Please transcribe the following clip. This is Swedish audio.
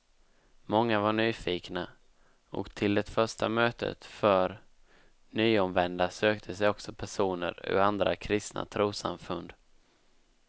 Många var nyfikna, och till det första mötet för nyomvända sökte sig också personer ur andra kristna trossamfund.